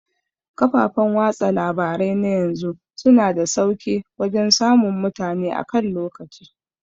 Kafafan watsa labarai na yanzu suna da sauke wajan samun mutane akan lokaci